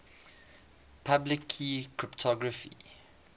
public key cryptography